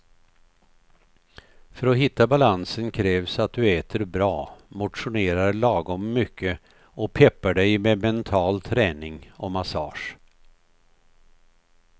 För att hitta balansen krävs att du äter bra, motionerar lagom mycket och peppar dig med mental träning och massage.